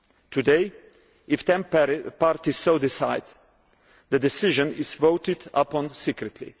Today if temporary parties so decide, the decision is voted upon secretly.